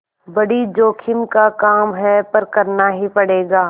बड़ी जोखिम का काम है पर करना ही पड़ेगा